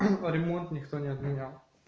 а ремонт никто не отменял